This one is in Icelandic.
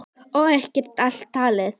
Og ekki er allt talið.